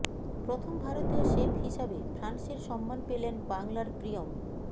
প্রথম ভারতীয় শেফ হিসাবে ফ্রান্সের সম্মান পেলেন বাংলার প্রিয়ম